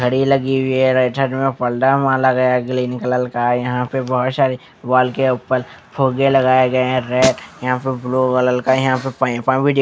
घड़ी लगी हुई है राइट साइड में और पर्दा माला गया है ग्रीन कलर का यहां बहुत सारे वॉल के ऊपर फोगे धोखे लगाए गए हैं रेड यहां पर ब्लू कलर का यहां पे पाइपा भी--